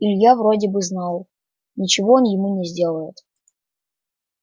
илья вроде бы знал ничего он ему не сделает